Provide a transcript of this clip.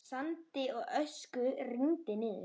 Sandi og ösku rigndi niður.